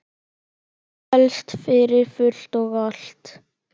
Helst fyrir fullt og allt.